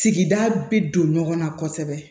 Sigida bi don ɲɔgɔn na kosɛbɛ